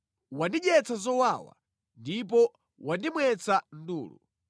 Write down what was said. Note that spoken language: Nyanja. Wandidyetsa zowawa ndipo wandimwetsa ndulu.